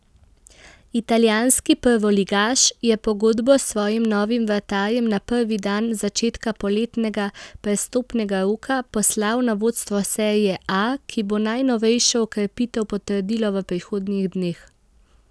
Italijanski prvoligaš je pogodbo s svojim novim vratarjem na prvi dan začetka poletnega prestopnega roka poslal na vodstvo serie A, ki bo najnovejšo okrepitev potrdilo v prihodnjih dneh.